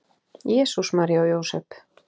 Jesús, María og Jósep!